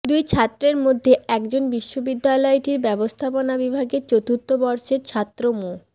দুই ছাত্রের মধ্যে একজন বিশ্ববিদ্যালয়টির ব্যবস্থাপনা বিভাগের চতুর্থ বর্ষের ছাত্র মো